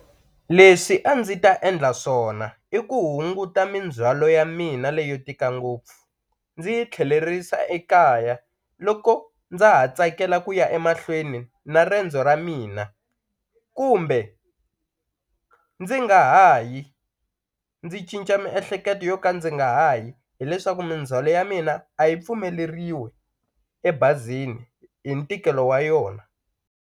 Leswi a ndzi ta endla swona i ku hunguta mindzhwalo ya mina leyo tika ngopfu ndzi yi tlhelerisa ekaya loko ndza ha tsakela ku ya emahlweni na riendzo ra mina kumbe ndzi nga ha yi ndzi cinca miehleketo yo ka ndzi nga ha yi hileswaku mindzhwalo ya mina a yi pfumeleriwi ebazini hi ntikelo wa yona.